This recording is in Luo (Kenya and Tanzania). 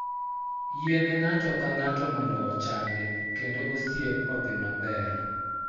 Yiene ng'ato ka ng'ato mondo ochange kendo osiep odhi maber.